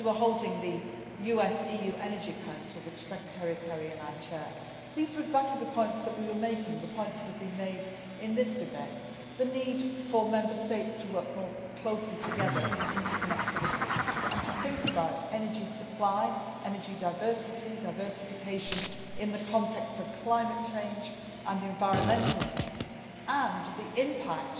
When we were holding the US EU Energy Council, which Secretary of State Kerry and I chair, we were making exactly the same points that have been made in this debate the need Member States to work more closely together in an interconnected way and to think about energy supply, energy diversity, diversification in the context of climate change and environmental needs, and the impact